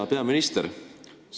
Hea peaminister!